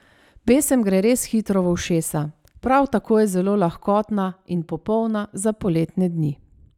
Pesem gre res hitro v ušesa, prav tako je zelo lahkotna in popolna za poletne dni.